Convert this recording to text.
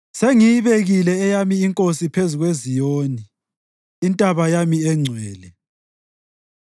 “Sengiyibekile eyami inkosi phezu kweZiyoni, intaba yami engcwele.”